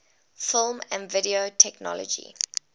film and video technology